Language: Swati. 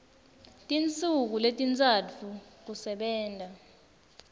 tinsuku letintsatfu kusebenta